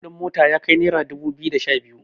kuɗin mota ya kai naira dubu biyu da Sha hudu